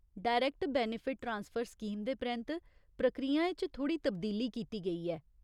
डाक्टरयरैक्ट benefit transfer scheme दे परैंत्त प्रक्रियाएं च थोह्ड़ी तब्दीली कीती गेई ऐ।